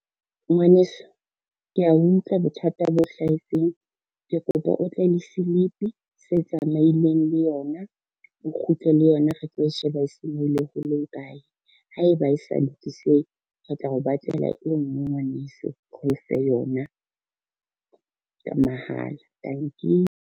Ngwaneso, kea utlwa bothata bo hlahetseng. Ke kopa o tle le slip se tsamaileng le yona, o kgutle le yona re tlo e sheba senyehile ho le ho kae, haeba e sa lokisehi re tla o batlela e ngwe ngwaneso re ofe yona, ka mahala. Tanki.